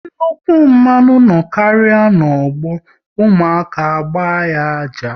Nnukwu mmanwu no karịa n'ọgbọ, ụmụaka agba ya ájá